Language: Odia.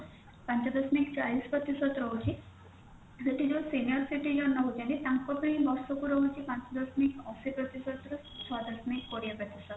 ପାଞ୍ଚ ଦଶମିକ ଚାଳିଶ ପ୍ରତିଷଦ ରହୁଛି ସେଠି ଯୋଉ senior citizen ରହୁଛନ୍ତି ତାଙ୍କ ପାଇଁ ବର୍ଷକୁ ରହୁଛି ପାଞ୍ଚ ଦଶମିକ ଅଶି ପ୍ରତିଷଦରୁ ଛଅ ସାଧାମିକ କୋଡିଏ ପ୍ରତିଷଦ